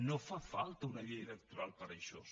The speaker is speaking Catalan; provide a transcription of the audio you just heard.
no fa falta una llei electoral per a això